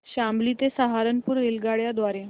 शामली ते सहारनपुर रेल्वेगाड्यां द्वारे